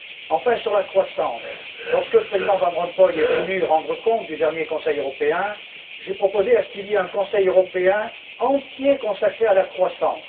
Enfin, sur la croissance, lorsque le Président Van Rompuy est venu nous rendre compte du dernier Conseil européen, j'ai proposé qu'il y ait un Conseil européen entier consacré à la croissance.